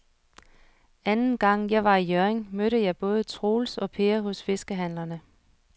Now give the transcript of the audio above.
Anden gang jeg var i Hjørring, mødte jeg både Troels og Per hos fiskehandlerne.